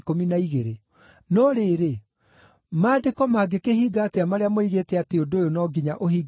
No rĩrĩ, Maandĩko mangĩkĩhinga atĩa marĩa moigĩte atĩ ũndũ ũyũ no nginya ũhinge na njĩra ĩno?”